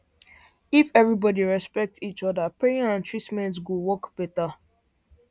if everybody respect each other prayer and treatment go work better